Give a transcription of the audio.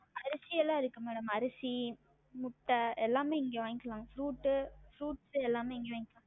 அரிசியெல்லாம் இருக்கு madam அரிசி, முட்ட எல்லாமே இங்க வாங்கிக்கலாம் fruit உ fruits எல்லாமே இங்க வாங்கிக்கலாம்